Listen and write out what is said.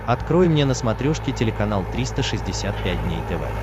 открой мне на смотрешке телеканал триста шестьдесят пять дней тв